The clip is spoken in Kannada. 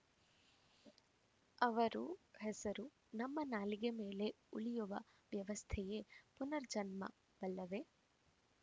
ಅವರು ಹೆಸರು ನಮ್ಮ ನಾಲಿಗೆ ಮೇಲೆ ಉಳಿಯುವ ವ್ಯವಸ್ಥೆಯೇ ಪುನರ್ಜನ್ಮವಲ್ಲವೇ